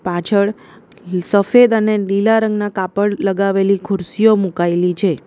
પાછળ સફેદ અને લીલા રંગના કાપડ લગાવેલી ખુરશીઓ મુકાયેલી છે.